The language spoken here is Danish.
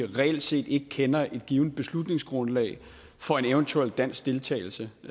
reelt set ikke kender et givent beslutningsgrundlag for en eventuel dansk deltagelse